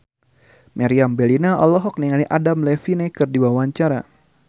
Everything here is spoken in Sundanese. Meriam Bellina olohok ningali Adam Levine keur diwawancara